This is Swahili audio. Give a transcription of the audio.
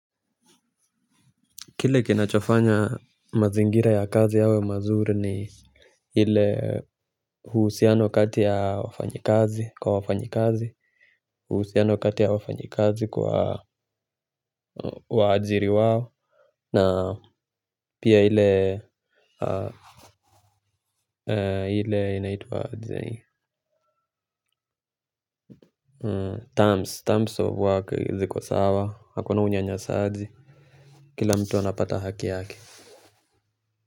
Kile kinachofanya mazingira ya kazi yawe mazuri ni ile uhusiano kati ya wafanyikazi kwa wafanyikazi, uhusiano kati ya wafanyikazi kwa waajiri wao, na pia ile inaitwa terms of work ziko sawa, hakuna unyanyasaji, kila mtu anapata haki yake.